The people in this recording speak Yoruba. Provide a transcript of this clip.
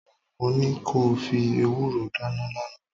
Mo ní ko fi ewúró dáná lánàá